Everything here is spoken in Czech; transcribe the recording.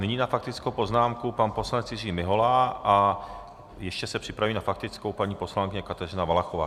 Nyní na faktickou poznámku pan poslanec Jiří Mihola a ještě se připraví na faktickou paní poslankyně Kateřina Valachová.